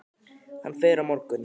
Hann fer á morgun.